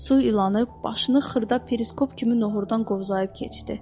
Su ilanı başını xırda periskop kimi nohqurdan qovzayıb keçdi.